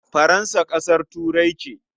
Faransa ƙasar Turai ce.